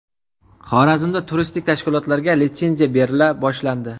Xorazmda turistik tashkilotlarga litsenziya berila boshlandi.